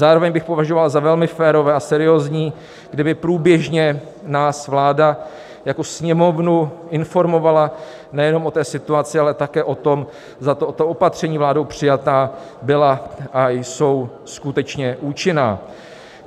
Zároveň bych považoval za velmi férové a seriózní, kdyby průběžně nás vláda jako Sněmovnu informovala nejenom o té situaci, ale také o tom, zda tato opatření vládou přijatá byla a jsou skutečně účinná.